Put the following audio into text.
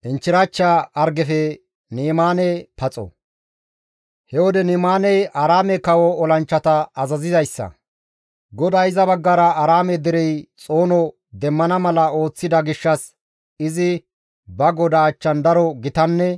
He wode Ni7imaaney Aaraame kawo olanchchata azazizayssa; GODAY iza baggara Aaraame derey xoono demmana mala ooththida gishshas izi ba godaa achchan daro gitanne